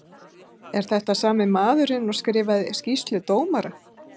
Er þetta sami maðurinn og skrifaði skýrslu dómara?